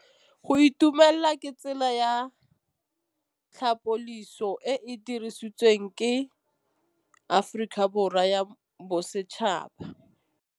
Go itumela ke tsela ya tlhapolisô e e dirisitsweng ke Aforika Borwa ya Bosetšhaba.